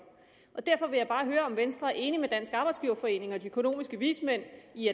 derfor vil jeg bare høre om venstre er enig med dansk arbejdsgiverforening og de økonomiske vismænd i